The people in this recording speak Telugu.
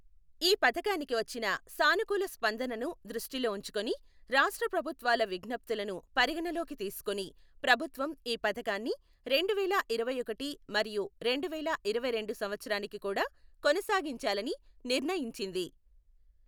ఈ పథకానికి వచ్చిన సానుకూల స్పందనను దృష్టిలో ఉంచుకుని, రాష్ట్రప్రభుత్వాల విజ్ఞప్తులను పరిగణనలోకి తీసుకుని ప్రభుత్వం ఈ పథకాన్ని రెండువేల ఇరవైఒకటి మరియు రెండువేల ఇరవైరెండు సంవత్సరానికి కూడా కొనసాగించాలని నిర్ణయించింది.